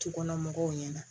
Dukɔnɔmɔgɔw ɲɛna